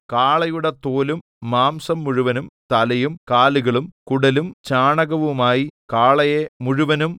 കാളയുടെ തോലും മാംസം മുഴുവനും തലയും കാലുകളും കുടലും ചാണകവുമായി കാളയെ മുഴുവനും